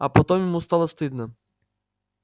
а потом ему стало стыдно